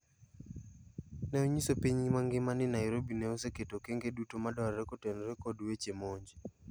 Ne onyiso piny mangima n Nairobi ne oseketo okenge duto madwarore kotenore kod wache monj.